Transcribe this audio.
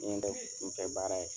N ɲɛ tɛ kunfɛ baara ye